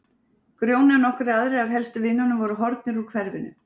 Grjóni og nokkrir aðrir af helstu vinunum voru horfnir úr hverfinu.